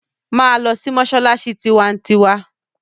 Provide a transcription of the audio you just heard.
Máa lọ sí mọ́ṣáláṣí tiwantiwa!